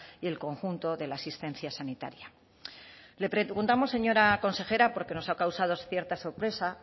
y el conjunto de la asistencia sanitaria le preguntamos señora consejera porque nos ha causado cierta sorpresa